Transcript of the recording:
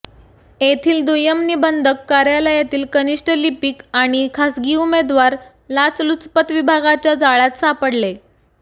येथील दुय्यम निबंधक कार्यालयातील कनिष्ठ लिपिक आणि खासगी उमेदवार लाचलुचपत विभागाच्या जाळ्यात सापडले